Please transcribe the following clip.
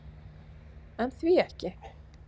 En því ekki?